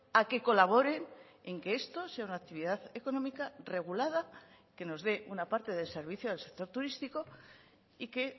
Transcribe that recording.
a que colaboren en que esto sea una actividad económica regulada que nos dé una parte de servicio del sector turístico y que